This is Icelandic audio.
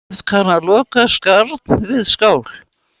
Oft kann að loða skarn við skál.